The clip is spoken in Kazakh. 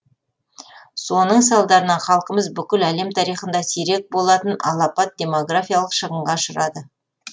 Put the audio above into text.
соның салдарынан халқымыз бүкіл әлем тарихында сирек болатын алапат демографиялық шығынға ұшырады